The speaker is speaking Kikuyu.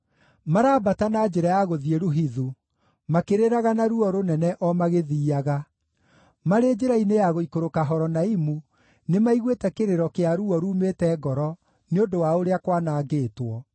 Marambata na njĩra ya gũthiĩ Luhithu, makĩrĩraga na ruo rũnene o magĩthiiaga; marĩ njĩra-inĩ ya gũikũrũka Horonaimu nĩmaiguĩte kĩrĩro kĩa ruo ruumĩte ngoro nĩ ũndũ wa ũrĩa kwanangĩtwo.